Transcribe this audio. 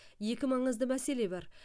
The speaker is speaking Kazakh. екі маңызды мәселе бар